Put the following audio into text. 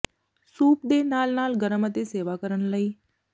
soup ਦੇ ਨਾਲ ਨਾਲ ਗਰਮ ਅਤੇ ਸੇਵਾ ਕਰਨ ਲਈ